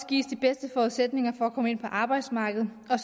gives de bedste forudsætninger for at komme ind på arbejdsmarkedet og